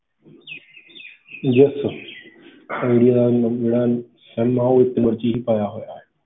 Yes sir Idea ਦਾ ਜਿਹੜਾ ਹੈ sim ਹੈ, ਉਹ ਇੱਕ number 'ਚ ਹੀ ਪਾਇਆ ਹੋਇਆ ਹੈ।